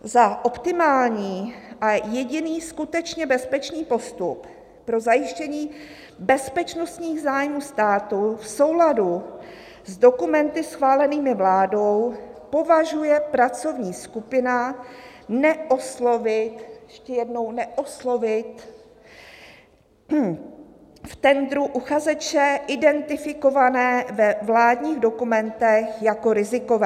"Za optimální a jediný skutečně bezpečný postup pro zajištění bezpečnostních zájmů státu v souladu s dokumenty schválenými vládou považuje pracovní skupina neoslovit" - ještě jednou, neoslovit - "v tendru uchazeče identifikované ve vládních dokumentech jako rizikové."